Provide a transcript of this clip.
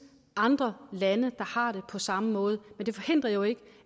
andre lande hvor har det på samme måde men det forhindrer jo ikke